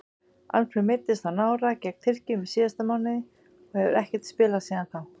Alfreð meiddist á nára gegn Tyrkjum í síðasta mánuði og hefur ekkert spilað síðan þá.